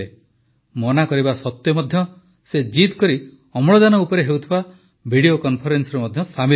ମନା କରିବା ସତ୍ୱେ ମଧ୍ୟ ସେ ଜିଦ୍ କରି ଅମ୍ଳଜାନ ଉପରେ ହେଉଥିବା ଭିଡିଓ କନଫରେନ୍ସରେ ମଧ୍ୟ ସାମିଲ୍ ହୋଇଯାଉଥିଲେ